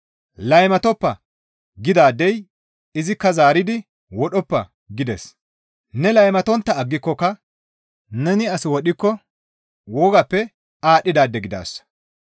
«Laymatoppa» gidaadey izikka zaaridi, «Wodhoppa» gides. Ne laymatontta aggikokka neni as wodhikko wogappe aadhdhidaade gidaasa.